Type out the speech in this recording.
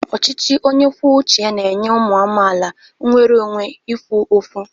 Ọchịchị onye kwuo uche ya na-enye ụmụ amaala nnwere onwe ikwu okwu.